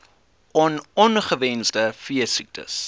on ongewenste veesiektes